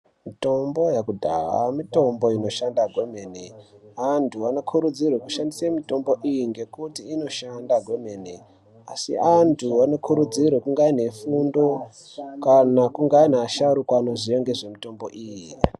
Mitombo yekudhaya mitombo inoshanda kwemene. Antu anokurudzirwe kushandise mitombo iyi ngekuti inoshanda kwemene asi antu anokurudzirwa kunga aine fundo kana kunga aine asharuka anoziya ngezvemitombo iyi.